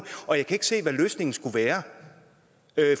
og jeg kan ikke se hvad løsningen skulle være